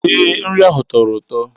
Ee, nri ahụ tọrọ ụtọ